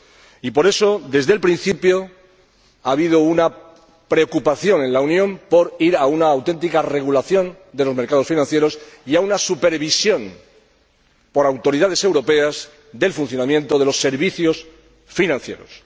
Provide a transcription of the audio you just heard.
Y por eso, desde el principio ha habido una preocupación en la Unión por ir a una auténtica regulación de los mercados financieros y a una supervisión por autoridades europeas del funcionamiento de los servicios financieros.